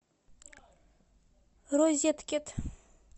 розеткед